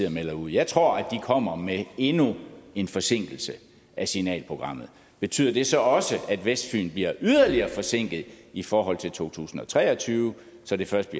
og melder ud jeg tror at de kommer med endnu en forsinkelse af signalprogrammet betyder det så også at vestfyn bliver yderligere forsinket i forhold til to tusind og tre og tyve så det først